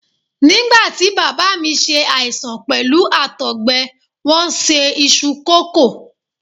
Nígbàtí Bàbá mi ṣe àìsàn pẹ̀lú Àtọ̀gbẹ, wón se iṣu kòkó.